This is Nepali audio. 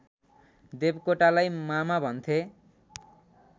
देवकोटालाई मामा भन्थे